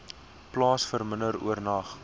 plaas verminder oornag